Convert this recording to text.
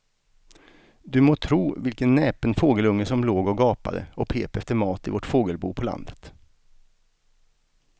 Du må tro vilken näpen fågelunge som låg och gapade och pep efter mat i vårt fågelbo på landet.